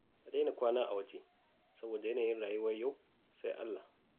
Ka daina kwana a waje saboda yanayin rayuwar yau sai Allah.